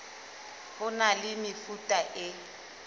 ho na le mefuta e